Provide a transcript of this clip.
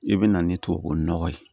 I bɛ na ni tubabu nɔgɔ ye